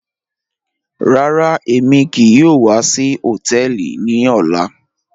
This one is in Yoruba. Rárá, èmi kíì yòò wà sí họ̀tẹ̀ẹlì ní ọ̀là.